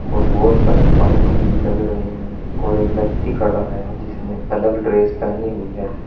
और बहोत सारे पाइप भी लग रहे हैं और एक व्यक्ति खड़ा है जिसने अलग ड्रेस पहनी हुई है।